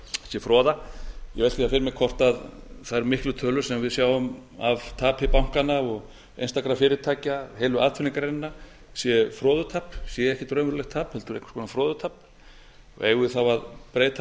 sé froða ég velti þá fyrir mér hvort þær miklu tölur sem við sjáum af tapi bankanna og einstakra fyrirtækja heilu atvinnugreinanna séu froðutap séu ekki raunverulegt tap heldur einhvers konar froðutap eigum við þá að breyta